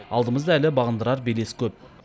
алдымызда әлі бағындырар белес көп